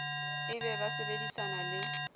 e be ba sebedisana le